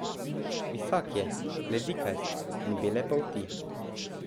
Visok je, bledikast in bele polti.